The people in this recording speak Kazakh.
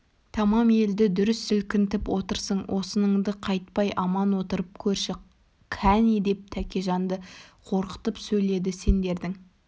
тамам елді дүр сілкінтіп отырсың осыныңнан қайтпай аман отырып көрші кәне деп тәкежанды қорқытып сөйледі сендердің